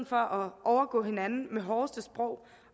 for at overgå hinanden med det hårdeste sprog